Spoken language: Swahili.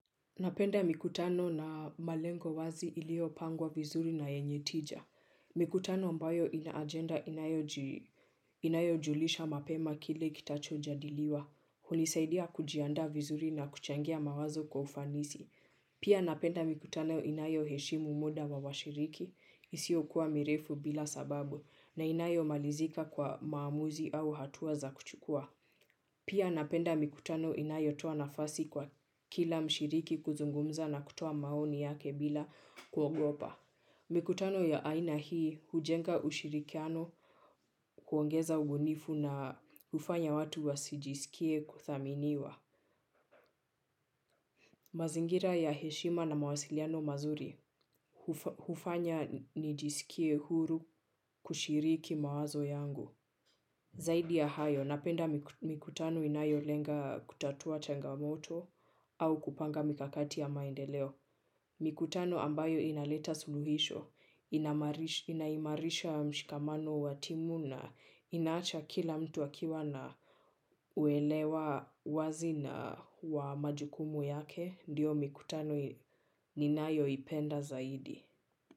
Napenda mikutano na malengo wazi ilio pangwa vizuri na yenye tija. Mikutano ambayo ina ajenda inayo julisha mapema kile kitacho jadiliwa. Hunisaidia kujiandaa vizuri na kuchangia mawazo kwa ufanisi. Pia napenda mikutano inayo heshimu muda wa washiriki isio kuwa mirefu bila sababu na inayo malizika kwa maamuzi au hatuwa za kuchukua. Pia napenda mikutano inayotoa nafasi kwa kila mshiriki kuzungumza na kutoa maoni yake bila kuogopa. Mikutano ya aina hii hujenga ushirikiano kuongeza ubunifu na hufanya watu wa sijisikie kuthaminiwa. Mazingira ya heshima na mawasiliano mazuri hufanya nijisikie huru kushiriki mawazo yangu. Zaidi ya hayo, napenda mikutano inayo lenga kutatua changamoto au kupanga mikakati ya maendeleo. Mikutano ambayo inaleta suluhisho, inaimarisha mshikamano wa timu na inaacha kila mtu akiwa na uelewa wazi wa majukumu yake, ndiyo mikutano ninayo ipenda zaidi.